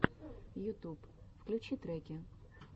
ютуб включи треки